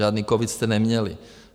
Žádný covid jste neměli.